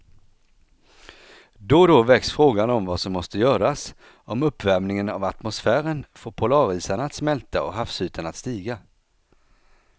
Då och då väcks frågan om vad som måste göras om uppvärmingen av atmosfären får polarisarna att smälta och havsytan att stiga.